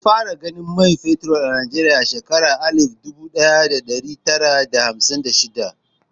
An fara gano man fetur a Najeriya a shekarar alif dubu ɗaya da ɗari tara da hamsin da shida.